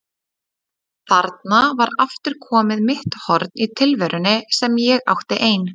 Þarna var aftur komið mitt horn í tilverunni sem ég átti ein.